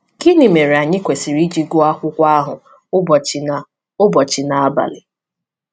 Gịnị mere anyị kwesịrị iji gụọ akwụkwọ ahụ ụbọchị na ụbọchị na abalị?